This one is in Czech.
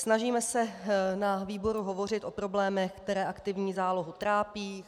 Snažíme se na výboru hovořit o problémech, které aktivní zálohy trápí.